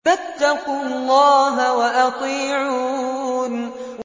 فَاتَّقُوا اللَّهَ وَأَطِيعُونِ